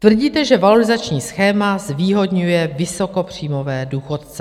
Tvrdíte, že valorizační schéma zvýhodňuje vysokopříjmové důchodce.